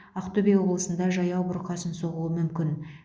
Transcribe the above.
ақтөбе облысында жаяу бұрқасын соғуы мүмкін